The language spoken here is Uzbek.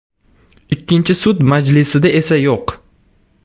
Ikkinchi sud majlisida esa yo‘q.